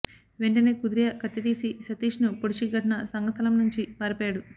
వెంటనే కథూరియా కత్తి తీసి సతీష్ను పొడిచి ఘటనా స్థలం నుంచి పారిపోయాడు